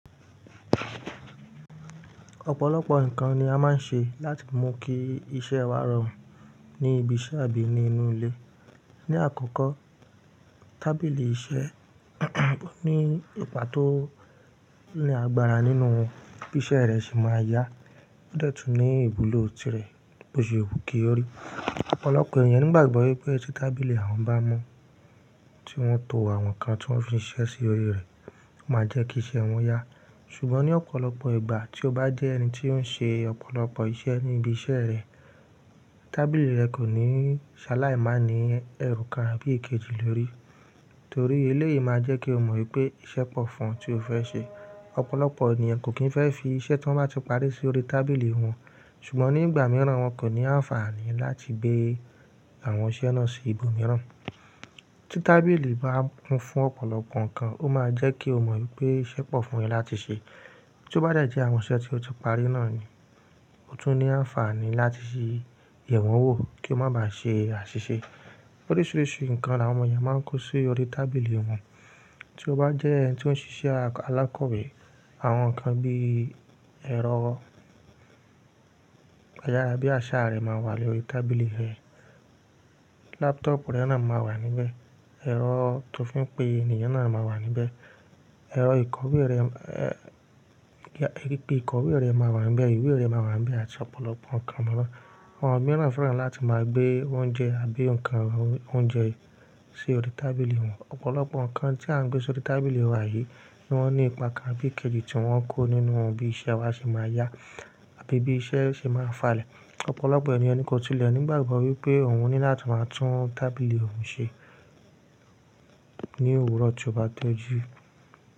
Ọ̀pọ̀lọpọ̀ nǹkan ni a máa ń ṣe láti mú kí iṣẹ́ wa rọrùn ní ibiṣẹ́ àbí ní inú ilé. Ni àkọ́kọ́, tábìlì iṣẹ́ ní ipa tó ní agbára nínú bí iṣẹ́ rẹ ṣe máa yá. Ó de tun ní ìwulọ̀ tí rẹ bó ṣe wù kí ọ́ rí. Ọ̀pọ̀lọpọ̀ ènìyàn nígbàgbọ́ wípé tí tábìlì àwọn bá mọ́ tí wón ń to àwọn nǹkan tí wón fi ń ṣiṣẹ́ sí orí rẹ̀ máa jẹ́ kí iṣẹ́ wọn yá. Ṣùgbọ́n ní ọ̀pọ̀lọpọ̀ ìgbà tí o bá jẹ́ ẹni tí ó ń ṣe ọ̀pọ̀lọpọ̀ iṣẹ́ ní ibi iṣẹ́ rẹ, tábìlì rẹ kò ní ṣaláì má ní ẹrù kan àbí èkejì lórí. Torí eléyìí máa jẹ́ kí o mọ̀ wípé iṣẹ́ pọ̀ fún ọ tí o fẹ́ ṣe. Ọ̀pọ̀lọpọ̀ ènìyàn kò kín fẹ́ fi iṣẹ́ tí wón bá ti parí sí orí tábìlì wọn, ṣùgbọ́n ní ìgbà mìíràn wọn kò ní àǹfààní láti gbé àwọn iṣẹ́ náà sí ibòmíràn. Tí tábìlì bá kún fún ọ̀pọ̀lọpọ̀ nǹkan, ó máa jẹ́ kí o mọ̀ wípé iṣẹ́ pọ̀ fún ẹ láti ṣe. Tí ó bá de jẹ́ àwọn iṣẹ́ tí o ti parí náà ni, ó tún ní àǹfààní láti ṣe yẹ̀wọ̀n wò kí ó máa ba ṣe àṣìṣe. Oríṣiríṣi nǹkan ni àwọn ọmọ ènìyàn máa ń kó sí orí tábìlì wọn. Tí o bá jẹ́ ẹni tí ó ń ṣiṣẹ́ alákọ̀wé, àwọn nǹkan bí ẹ̀rọ ayára bí àṣáà rẹ máa wà lórí tábìlì rẹ. Laptop rẹ náà máa wà níbẹ̀, ẹ̀rọ tó fi ń pe ènìyàn náà máa wà níbẹ̀, ẹ̀rọ ìkọ́wé rẹ, ìkọ́wé rẹ máa wà níbẹ̀, ìwé rẹ máa wà níbẹ̀ àti ọ̀pọ̀lọpọ̀ nǹkan Àwọn mìíràn fẹ́ràn láti máa gbé oúnjẹ àbí nǹkan oúnjẹ sí orí tábìlì wọn. Ọ̀pọ̀lọpọ̀ nǹkan tí à ń gbé sí orí tábìlì wa yìí ní wọ́n ní ipa kan àbí èkejì tí wọ́n kó nínú bí iṣẹ́ wa ṣe máa yá àbí bí iṣẹ́ ṣe máa falẹ̀. Ọ̀pọ̀lọpọ̀ ènìyàn ni kò tí lè nígbàgbọ́ wípé òun ní láti máa tún tábìlì òun ṣe ní òwúrọ̀ tí ó bá tiji.